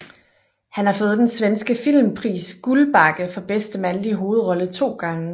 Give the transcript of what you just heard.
Han har fået den svenske filmpris Guldbagge for bedste mandlige hovedrolle to gange